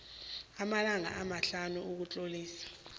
amalanga amahlanu ukutlolisa